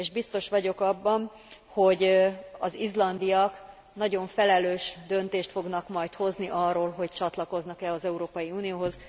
És biztos vagyok abban, hogy az izlandiak nagyon felelős döntést fognak majd hozni arról, hogy csatlakoznak e az Európai Unióhoz.